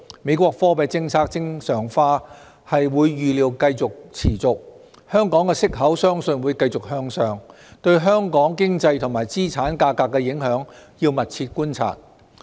美國貨幣政策正常化預料會持續，香港息口相信會繼續向上，對香港經濟和資產價格的影響，要密切觀察。